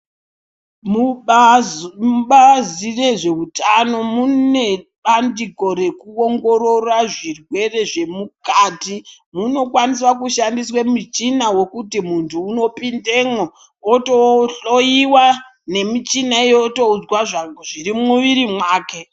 Mubazi rezvehutano mune bandiko rekuongorora zvirwere zvemukati munokwanisa kushandisa michini wekuti muntu unopindamo wotohloiwa nemichini iyoyo wotozwa zviri mumwiri wake.